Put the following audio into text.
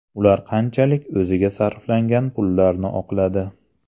Ular qanchalik o‘ziga sarflangan pullarni oqladi.